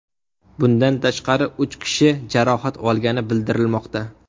Bundan tashqari, uch kishi jarohat olgani bildirilmoqda.